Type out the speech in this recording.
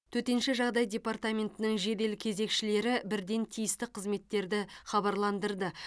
төтенше жағдай департаментінің жедел кезекшілері бірден тиісті қызметтерді хабарландырды